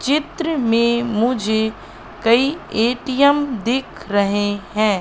चित्र में मुझे कई एटीएम दिख रहे हैं।